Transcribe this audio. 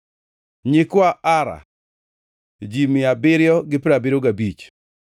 nyikwa Ara, ji mia abiriyo gi piero abiriyo gabich (775),